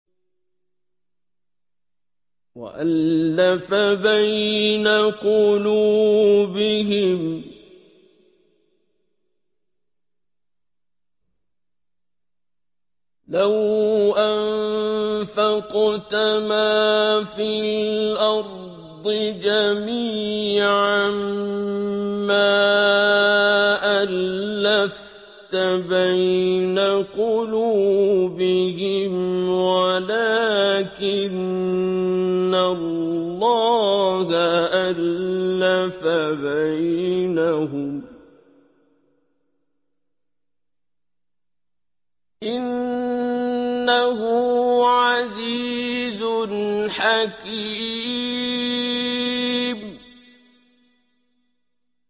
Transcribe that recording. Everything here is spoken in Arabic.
وَأَلَّفَ بَيْنَ قُلُوبِهِمْ ۚ لَوْ أَنفَقْتَ مَا فِي الْأَرْضِ جَمِيعًا مَّا أَلَّفْتَ بَيْنَ قُلُوبِهِمْ وَلَٰكِنَّ اللَّهَ أَلَّفَ بَيْنَهُمْ ۚ إِنَّهُ عَزِيزٌ حَكِيمٌ